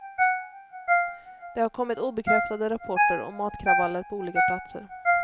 Det har kommit obekräftade rapporter om matkravaller på olika platser.